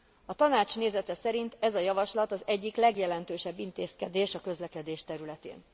A Tanács nézete szerint ez a javaslat az egyik legjelentősebb intézkedés a közlekedés területén.